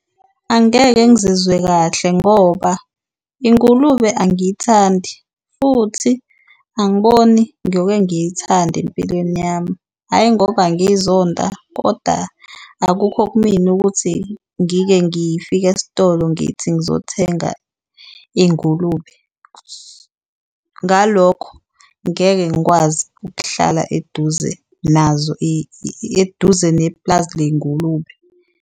Angeke ngizizwe kahle ngoba ingulube angiyithandi futhi angiboni ngiyoke ngiyithande empilweni yami, hhayi ngoba ngizonda koda akukho kumina ukuthi ngike ngifike esitolo ngithi ngizothenga ingulube. Ngalokho, ngeke ngikwazi ukuhlala eduze nazo, eduze neplazi ley'ngulube.